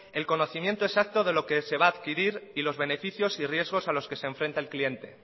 el conocimiento exacto de lo que se va a adquirir y los beneficios y riesgos a los que se enfrenta el cliente